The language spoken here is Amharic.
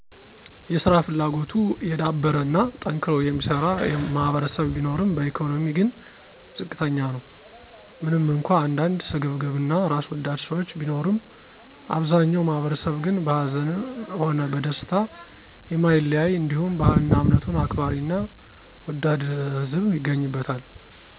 የሰራ ፍላጎቱ የዳበረ እና ጠንክሮ የሚሰራ ማህበረሰብ ቢኖርም በኢኮኖሚ ግን ዝቅተኛ ነው። ምንም እንኳ አንዳንድ ስግብግብ እና ራስወዳድ ሰዎች ቢኖሩም አብዛኛው ማህበረሰብ ግን በሀዘንም ሆነ በደስታ የማይለያይ እንዲሁም ባህልና እምነቱን አክባሪና ወዳድ ህዝብ ይገኝበታል